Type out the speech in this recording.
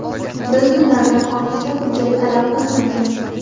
Biz ulardan ortiqcha hujjat talab qilmaymiz.